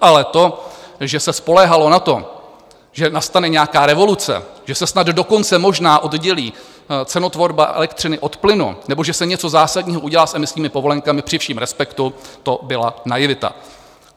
Ale to, že se spoléhalo na to, že nastane nějaká revoluce, že se snad dokonce možná oddělí cenotvorba elektřiny od plynu nebo že se něco zásadního udělá s emisními povolenkami, při všem respektu to byla naivita.